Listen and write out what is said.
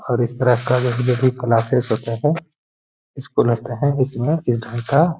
और इस तरह का जो भी क्लासेज होते हैं स्कूल होते हैं इसमें इस ढंग का --